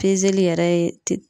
yɛrɛ ye